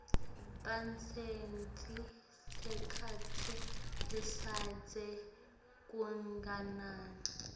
babuse sikhatsi lesidze kanganani